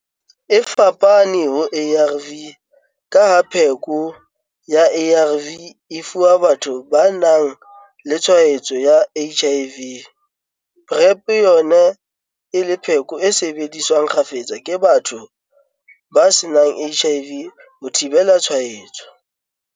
E fapane ho ARV ka ha pheko ya ARV e fuwa batho ba nang le tshwaetso ya HIV, PrEP yona e le pheko e sebediswang kgafetsa ke batho ba senang HIV ho thibela tshwaetso.